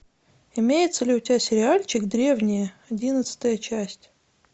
имеется ли у тебя сериальчик древние одиннадцатая часть